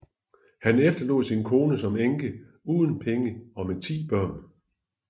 Han efterlod sin kone som enke uden penge og med ti børn